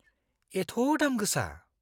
एथ' दाम गोसा।